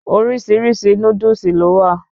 Orísirísi Núdúsì lọ́ wa